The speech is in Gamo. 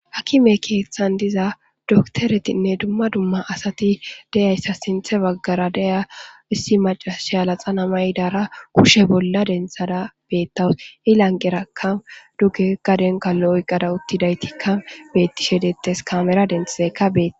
Hakime keeththan diza doktoretinne dumma dumma asati deyayssa sinthe baggara deya issi macashe alaxanamay dara kushe bolla denthada beettawus ilanqeraka duge gadenka lo'oqqada uttidaytikka beetti shedettes kamera denthaeka beet.